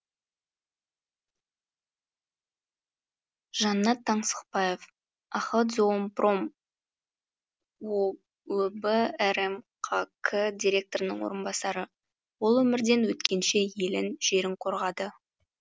жаннат таңсықбаев охотзоопром өб рмқк директорының орынбасары ол өмірден өткенше елін жерін қорғады